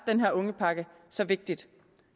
den her ungepakke så vigtig